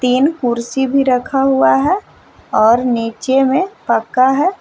तीन कुर्सी भी रखा हुआ है और नीचे में पक्का है।